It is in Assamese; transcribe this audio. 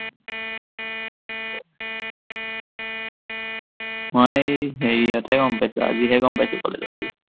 মই হেৰিয়তেহে গম পাইছো, আজিহে গম পাইছো কলেজত গৈ